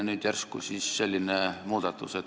Nüüd järsku siis selline muudatus.